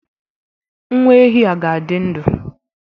Nwa ehi a ga-adị ndụ